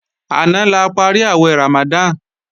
Àná la parí àwẹ̀ Ramadan